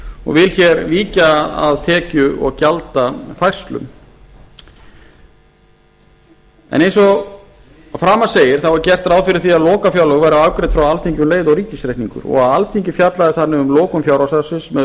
og vil hér víkja að tekju og gjaldafærslum en eins og að framan segir er gert ráð fyrir því að lokafjárlög verði afgreidd frá alþingi um leið og ríkisreikningur og alþingi fjallaði þannig um lokun fjárhagsársins með